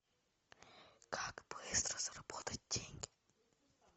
как быстро заработать деньги